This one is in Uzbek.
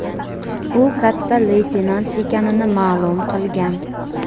u katta leytenant ekanini ma’lum qilgan.